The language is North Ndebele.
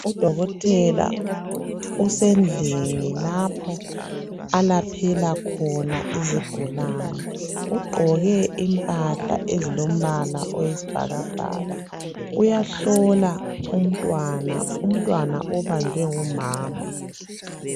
UDokotela usendlini lapho alaphela khona izigulani. Ugqoke impahla ezilombala oyisibhakabhaka. Uyahlola umntwana ,umntwana obanjwe ngumama.